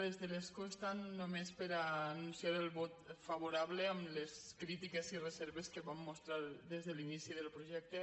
des de l’escó estant només per anunciar el vot favorable amb les crítiques i reserves que vam mostrar des de l’inici del projecte